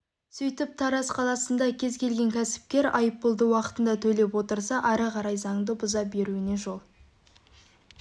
сөйтіп тараз қаласында кез келген кәсіпкер айыппұлды уақытында төлеп отырса ары қарай заңды бұза беруіне жол